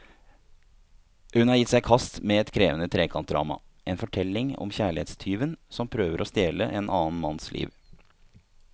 Hun har gitt seg i kast med et krevende trekantdrama, en fortelling om kjærlighetstyven som prøver å stjele en annen manns liv.